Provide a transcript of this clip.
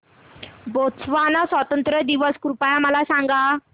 Botswana स्वातंत्र्य दिन कृपया मला सांगा